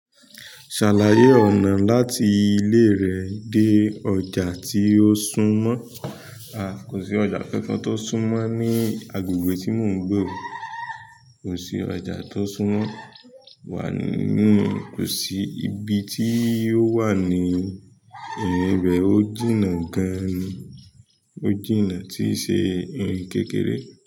Ṣàlàyé ọ̀nà láti ilé rẹ dé ọjà tí ó sún mọ́. Kò sí ọjà kankan t'ó súń mọ́ ní agbègbè tí mo ń gbé o. Kò sí ọjà t'ó sún mọ́ wa nì, kò sí. Ibi tí yóò wà ni— ìrìn ibẹ̀ ó jìnà gan ni, ó jìnà tíì ṣe ìrin kékeré.